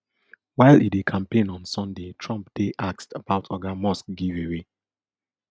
while e dey campaign on sunday trump dey asked about oga musks giveaway